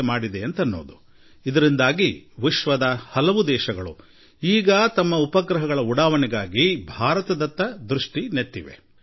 ಈ ಕಾರಣದಿಂದಾಗಿ ವಿಶ್ವದ ಅನೇಕ ದೇಶಗಳು ತಮ್ಮ ಉಪಗ್ರಹಗಳ ಉಡಾವಣೆಗಾಗಿ ಈಗ ಭಾರತದ ಕಡೆ ನೋಡುತ್ತಿವೆ